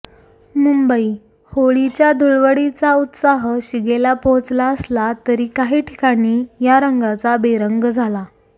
मुंबईः होळीच्या धुळवडीचा उत्साह शिगेला पोहोचला असला तरी काही ठिकाणी या रंगाचा बेरंग झाला